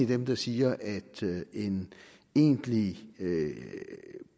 dem der siger at en egentlig